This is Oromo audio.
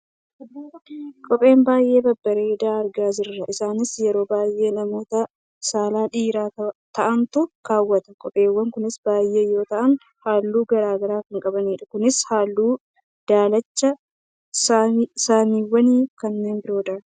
kophee baayyee babbareedu argaa jirra. isaanis yeroo baayyee namoota saalaan dhiira ta'antu kaawwata. kopheewwan kunis baayyee yoo ta'an halluu gara garaa kan qabanidha. kunis halluu daalacha, samaawwii fi kanneen biroodha.